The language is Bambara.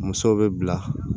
Musow bɛ bila